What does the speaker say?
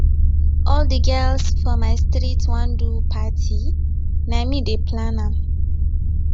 all di girls for my street wan do party na me dey plan am